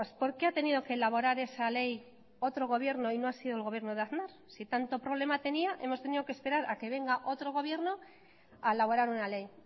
por qué ha tenido que elaborar esa ley otro gobierno y no ha sido el gobierno de aznar si tanto problema tenía hemos tenido que esperar a que venga otro gobierno a elaborar una ley